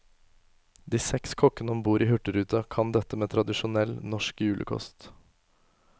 De seks kokkene om bord i hurtigruta kan dette med tradisjonell, norsk julekost.